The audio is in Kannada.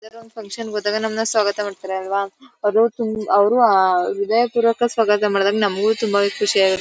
ಯಾವ್ದೋ ಒಂದ್ ಫನ್ಕ್ಷನ್ಗ್ ಹೋದಾಗ ನಮ್ನ ಸ್ವಾಗತ ಮಾಡ್ತಾರಲ್ವಾ. ಅದು ಅವ್ರು ಆ ವಿದಾಯಪೂರ್ವಕ ಸ್ವಾಗತ ಮಾಡಿದಾಗ ನಮಗೂ ತುಂಬಾವೆ ಖುಷಿಯಾಗು--